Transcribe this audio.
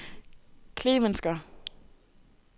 Klemensker